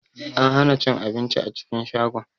An hana cin abinci a cikin shagon.